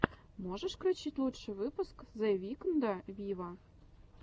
можешь включить лучший выпуск зе викнда виво